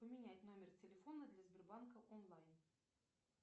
поменять номер телефона для сбербанка онлайн